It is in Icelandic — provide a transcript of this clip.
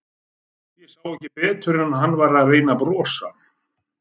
Ég sá ekki betur en að hann væri að reyna að brosa.